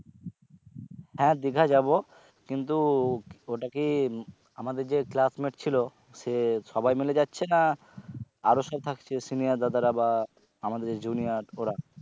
হ্যাঁ দিঘা যাব কিন্তু ওটা কি আমাদের যে classmate ছিলো সে সবাই মিলে যাচ্ছে না আরো কেও থাকছে senior দাদারা বা আমাদের junior ওরা?